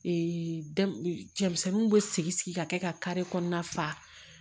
cɛmisɛnninw bɛ sigi sigi ka kɛ ka kare kɔnɔna faa